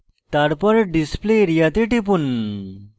তারপর display area then টিপুন